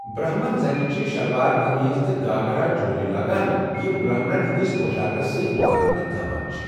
برہمن زنہِ چھےٚ شِلوار کمیٖز تہٕ گھاگرا چولی لاگان، یم برہمنن ہندِس پو٘شاكس سۭتۍ مُتٲبقت تھاوان چھِ ۔